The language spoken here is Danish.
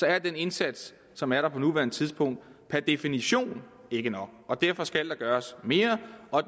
er den indsats som er der på nuværende tidspunkt per definition ikke nok derfor skal der gøres mere og